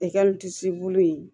bulu in